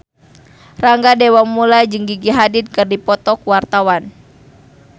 Rangga Dewamoela jeung Gigi Hadid keur dipoto ku wartawan